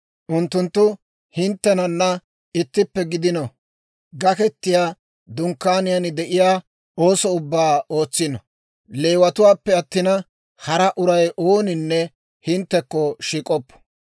Unttunttu hinttenana ittippe gidino; Gaketiyaa Dunkkaaniyaan de'iyaa ooso ubbaa ootsino. Leewatuwaappe attina, hara uray ooninne hinttekko shiik'oppo.